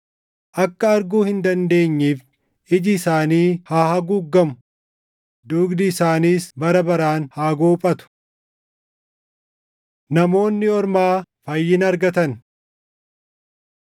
Akka arguu hin dandeenyeef iji isaanii haa haguuggamu; dugdi isaaniis bara baraan haa goophatu.” + 11:10 \+xt Far 69:22,23\+xt* Namoonni Ormaa Fayyina Argatan